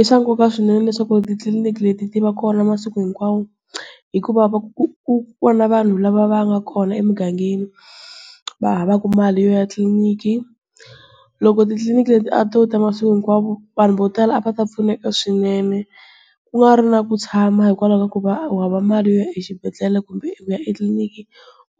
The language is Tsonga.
I swa nkoka swinene leswaku titliliniki leti ti va kona masiku hinkwawo. Hikuva ku ku kona vanhu lava va nga kona emugangeni, va havaka mali yo ya tliliniki. Loko titliliniki leti a to ta masiku hinkwawo, vanhu vo tala a va ta pfuneka swinene. Ku nga ri na ku tshama hikwalaho ka ku va u hava mali yo ya exibedhlele kumbe ku ya etliliniki.